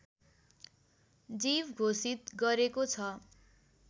जीव घोषित गरेको छ